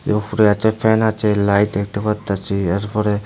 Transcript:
এ উফরে আচে ফ্যান আচে লাইট দেখতে পারতাছি এরপরে--